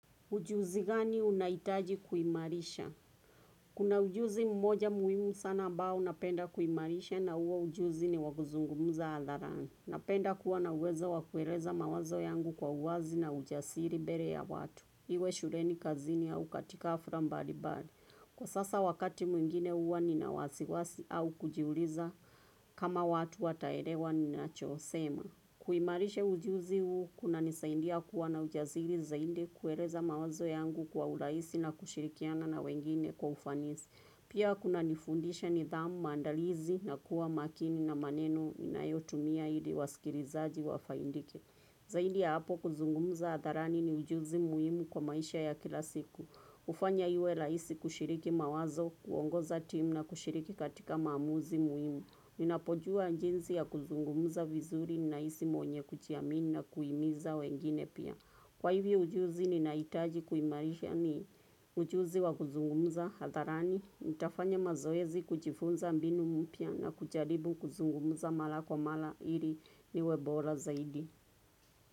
Ujuzi gani unahitaji kuimarisha? Kuna ujuzi mmoja muhimu sana ambao napenda kuimarisha na huo ujuzi ni wakuzungumza hadharani. Napenda kuwa na uwezo wa kueleza mawazo yangu kwa uwazi na ujasiri mbele ya watu. Iwe shuleni kazini au katika hafla mbali bali. Kwa sasa wakati mwingine huwa nina wasiwasi au kujiuliza kama watu wataelewa ninacho sema. Kuimarisha ujuzi huu kunanisaindia kuwa na ujasiri zaidi kueleza mawazo yangu kwa urahisi na kushirikiana na wengine kwa ufanisi. Pia kunanifundisha nidhamu maandalizi na kuwa makini na maneno ninayotumia ili wasikilizaji wafaidike. Zaidi ya hapo kuzungumza hadharani ni ujuzi muhimu kwa maisha ya kila siku. Hufanya iwe rahisi kushiriki mawazo, kuongoza timu na kushiriki katika maamuzi muhimu. Ninapojua jinsi ya kuzungumza vizuri nahisi mwenye kujiamini na kuhimiza wengine pia. Kwa hivyo ujuzi ninahitaji kuimarisha ni ujuzi wa kuzungumza hadharani. Nitafanya mazoezi kujifunza mbinu mpya na kujaribu kuzungumza mara kwa mara ili niwe bora zaidi.